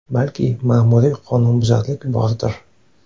Balki, ma’muriy qonunbuzarlik bordir.